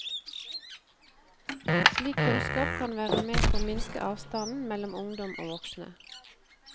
Slik kunnskap kan være med på å minske avstanden mellom ungdom og voksne.